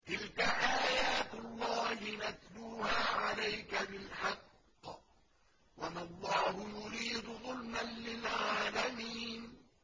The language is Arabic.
تِلْكَ آيَاتُ اللَّهِ نَتْلُوهَا عَلَيْكَ بِالْحَقِّ ۗ وَمَا اللَّهُ يُرِيدُ ظُلْمًا لِّلْعَالَمِينَ